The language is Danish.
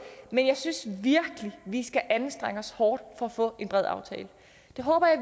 men jeg synes virkelig at vi skal anstrenge os hårdt for at få en bred aftale det håber jeg